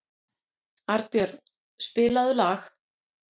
Arnbjörn, spilaðu lag.